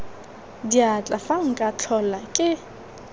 diatla fa nka tlhola ke